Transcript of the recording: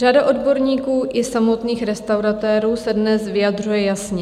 Řada odborníků i samotných restauratérů se dnes vyjadřuje jasně.